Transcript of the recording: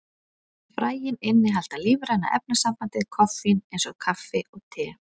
Fræin innihalda lífræna efnasambandið koffín, eins og kaffi og te.